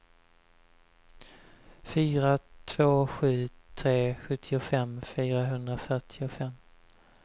fyra två sju tre sjuttiofem fyrahundrafyrtiofem